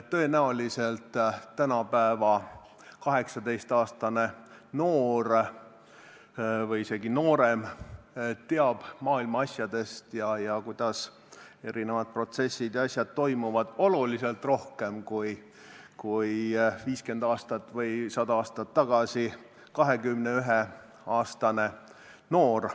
Tõenäoliselt teab tänapäeva 18-aastane noor või isegi noorem maailma asjadest ja sellest, kuidas erinevad protsessid toimuvad, oluliselt rohkem kui 50 aastat või 100 aastat tagasi 21-aastane noor.